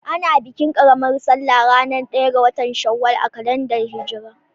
Ana bikin ƙaramar salla ranar ɗaya ga Shawwal a kalandar hijra.